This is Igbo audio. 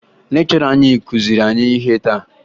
Lekchọra anyị kụziri anyị ihe taa